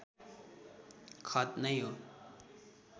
खत नै हो